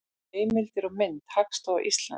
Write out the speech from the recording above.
Heimildir og mynd: Hagstofa Íslands.